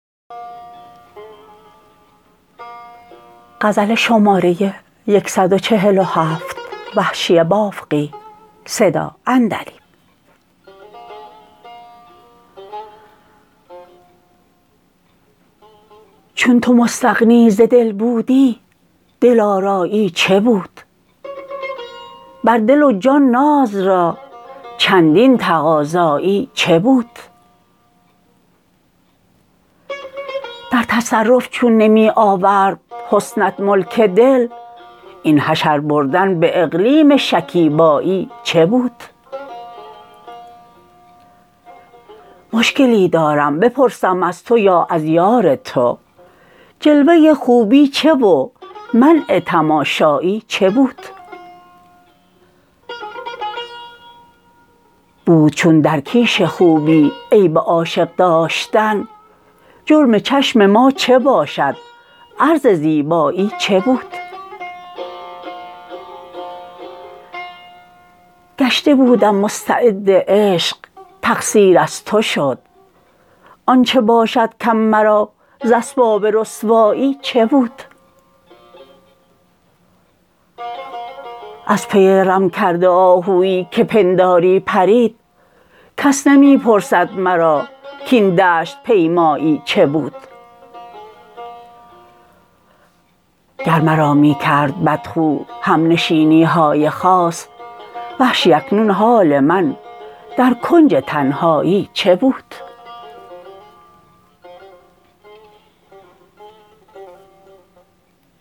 چون تو مستغنی ز دل بودی دل آرایی چه بود بر دل و جان ناز را چندین تقاضایی چه بود در تصرف چون نمی آورد حسنت ملک دل این حشر بردن به اقلیم شکیبایی چه بود مشکلی دارم بپرسم از تو یا از یارتو جلوه خوبی چه و منع تماشایی چه بود بود چون در کیش خوبی عیب عاشق داشتن جرم چشم ما چه باشد عرض زیبایی چه بود گشته بودم مستعد عشق تقصیر از تو شد آنچه باشد کم مرا زاسباب رسوایی چه بود از پی رم کرده آهویی که پنداری پرید کس نمی پرسد مراکاین دشت پیمایی چه بود گر مرا می کرد بدخو همنشینیهای خاص وحشی اکنون حال من در کنج تنهایی چه بود